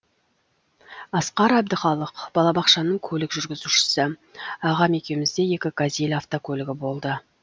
асқар әбдіқалық балабақшаның көлік жүргізушісі ағам екеумізде екі газель автокөлігі болды